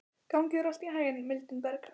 Gangi þér allt í haginn, Mildinberg.